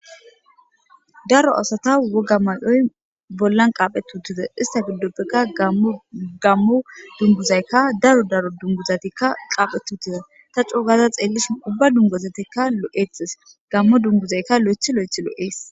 Daro asata woga mayoy bollan qaaphetutize ista giddoppeqa gammu dunguzaykka daro daro dunguzatikka qaaphetutiza ta coo gaza xeellishi ubba dungozatekka lo'etes gammo dunguzaykka lo'ethi lo'ethi l'ees